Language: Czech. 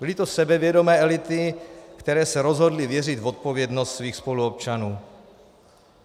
Byly to sebevědomé elity, které se rozhodly věřit v odpovědnost svých spoluobčanů.